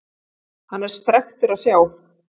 Hann er strekktur að sjá.